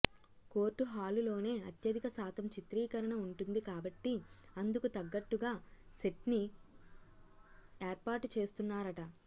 court hall లోనే అత్యధిక శాతం చిత్రీకరణ వుంటుంది కాబట్టి అందుకు తగ్గట్టుగా సెట్ని ఏర్పాటు చేస్తున్నారట